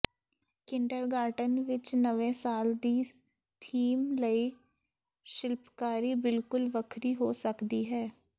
kindergarten ਵਿਚ ਨਵੇਂ ਸਾਲ ਦੇ ਥੀਮ ਲਈ ਸ਼ਿਲਪਕਾਰੀ ਬਿਲਕੁਲ ਵੱਖਰੀ ਹੋ ਸਕਦੀ ਹੈ